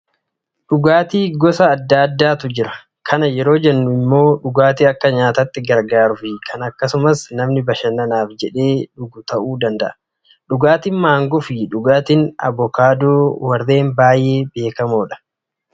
Dhugaatiin gosa adda addaatu jira. Kana yeroo jennu immoo dhugaatii akka nyaataatti gargaaruu fi kan akkasumaan namni bashannanaaf jedhee dhugu ta'uu danda'a. Dhugaatiin maangoo fi dhugaatiin abukaadoo warreen baay'ee beekamoodha.